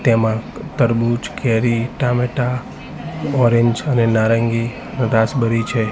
તેમાં તરબૂચ કેરી ટામેટા ઓરેન્જ અને નારંગી રાસબરી છે.